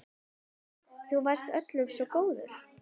Þú varst öllum svo góður.